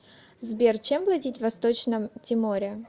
сбер чем платить в восточном тиморе